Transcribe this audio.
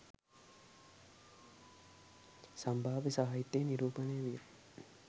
සම්භාව්‍ය සාහිත්‍යයෙන් නිරූපණය විය.